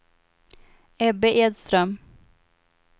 Ebbe Edström